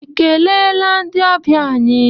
I keleela ndị ọbịa anyị?